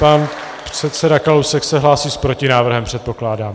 Pan předseda Kalousek se hlásí s protinávrhem, předpokládám.